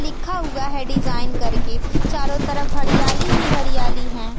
लिखा हुआ है डिजाइन करके चारों तरफ हरियाली ही हरियाली है।